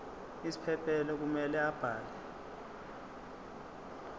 isiphephelo kumele abhale